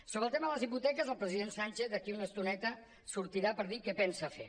sobre el tema de les hipoteques el president sánchez d’aquí una estoneta sortirà per dir què pensa fer